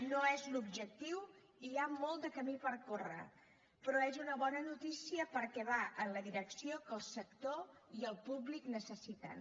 no és l’objectiu i hi ha molt de camí per córrer però és una bona notícia perquè va en la direcció que el sector i el públic necessiten